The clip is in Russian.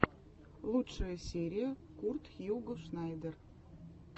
лучшая серия курт хьюго шнайдер